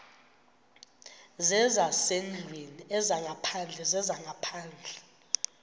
zezasendlwini ezaphandle zezaphandle